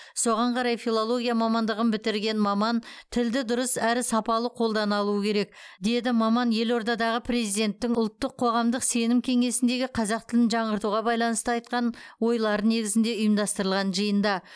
соған қарай филология мамандығын бітірген маман тілді дұрыс әрі сапалы қолдана алуы керек деді маман елордадағы президенттің ұлттық қоғамдық сенім кеңесіндегі қазақ тілін жаңғыртуға байланысты айтқан ойлары негізінде ұйымдастырылған жиында